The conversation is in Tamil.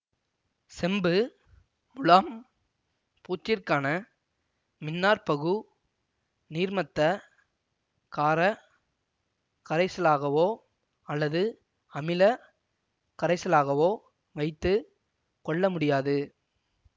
செம்பு முலாம் பூச்சிற்கான மின்னாற்பகு நீர்மத்த காரக் கரைசலாகவோ அல்லது அமில கரைசலாகவோ வைத்து கொள்ளமுடியாது